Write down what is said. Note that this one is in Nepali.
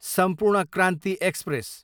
सम्पूर्ण क्रान्ति एक्सप्रेस